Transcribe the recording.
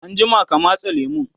anjima ka matse lemun!